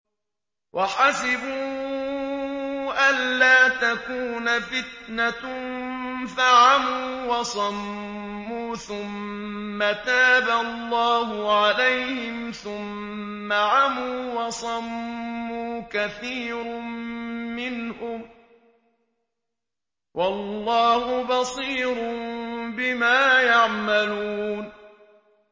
وَحَسِبُوا أَلَّا تَكُونَ فِتْنَةٌ فَعَمُوا وَصَمُّوا ثُمَّ تَابَ اللَّهُ عَلَيْهِمْ ثُمَّ عَمُوا وَصَمُّوا كَثِيرٌ مِّنْهُمْ ۚ وَاللَّهُ بَصِيرٌ بِمَا يَعْمَلُونَ